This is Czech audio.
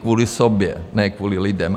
Kvůli sobě, ne kvůli lidem.